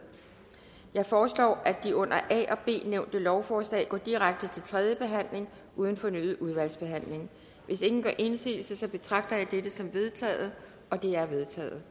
jeg foreslår at de under a og b nævnte lovforslag går direkte til tredje behandling uden fornyet udvalgsbehandling hvis ingen gør indsigelse betragter jeg dette som vedtaget det er vedtaget